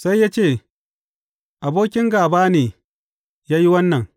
Sai ya ce, Abokin gāba ne ya yi wannan.’